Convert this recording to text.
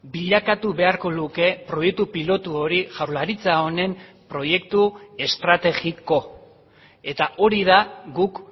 bilakatu beharko luke proiektu pilotu hori jaurlaritza honen proiektu estrategiko eta hori da guk